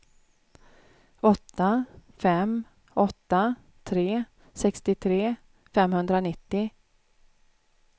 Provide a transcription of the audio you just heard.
åtta fem åtta tre sextiotre femhundranittio